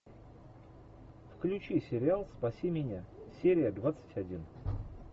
включи сериал спаси меня серия двадцать один